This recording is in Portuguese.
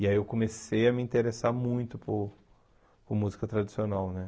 E aí eu comecei a me interessar muito por por música tradicional, né?